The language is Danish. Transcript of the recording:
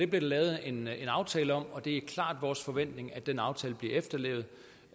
blev lavet en aftale om og det er klart vores forventning at den aftale bliver efterlevet